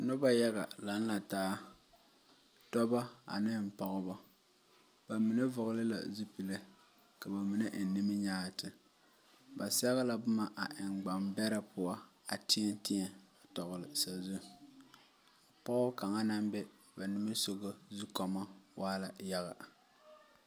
Noba yaga laŋe la taa dɔba ane pɔgeba, ba mine vɔgeli la zupile ka ba mine eŋ niminyaati ba sɛge la boma a eŋ gban beɛre poɔ a teɛŋ teɛŋ a tɔgli sazu pɔgɔ kaŋa naŋ be ba nimitɔreŋ zukɔɔmɔ waa la yaga.